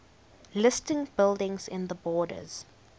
listed buildings in the borders